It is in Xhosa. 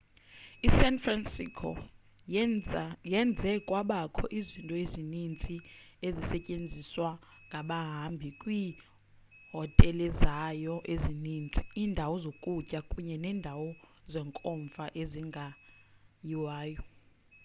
i-san francisco yenze kwabakho izinto ezininzi ezisetyenziswa ngabahambi ngieehotelezayo ezininzi iindawo zokutya kunye neendawo zenkomfa ezingayiwayo